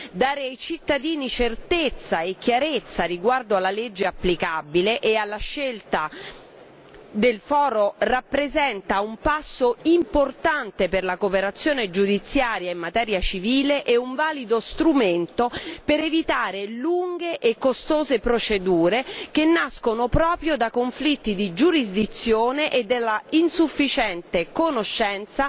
Dare ai cittadini certezza e chiarezza riguardo alla legge applicabile e alla scelta del foro rappresenta un passo importante per la cooperazione giudiziaria in materia civile e un valido strumento per evitare lunghe e costose procedure che nascono proprio da conflitti di giurisdizioni e dall'insufficiente conoscenza